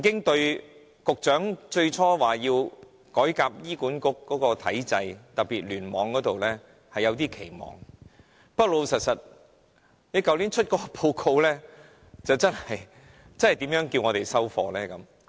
對於局長最初說要改革醫管局體制，特別是聯網方面，我曾經抱有一點期望，不過老實說，去年發表的報告我們如何能接受呢？